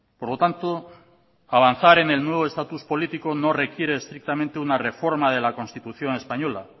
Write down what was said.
por lo tanto avanzar en el nuevo estatus político no requiere estrictamente una reforma de la constitución española